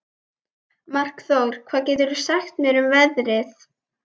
Markþór, hvað geturðu sagt mér um veðrið?